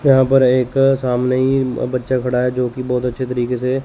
यहां पर एक सामने ही बच्चा खड़ा है जो कि बहुत अच्छे तरीके से--